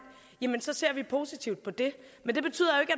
jamen så ser vi positivt på det det betyder